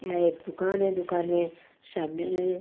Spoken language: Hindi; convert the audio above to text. एक दुकान है दुकान में सामने--